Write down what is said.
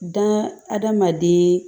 Da hadamaden